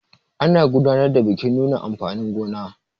ana gudanar da bikin nuna amfanin gona